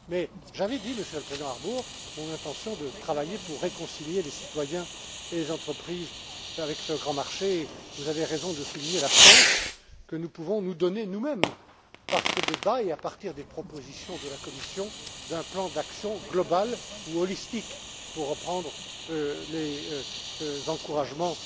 Mais, j'avais dit, Monsieur le Président Harbour, mon intention de travailler pour réconcilier les citoyens et les entreprises avec ce grand marché, et vous avez raison de souligner la chance que nous pouvons nous donner nous mêmes avec ce débat et avec des propositions de la Commission sur un plan d'action global ou holistique, pour reprendre des mots encourageants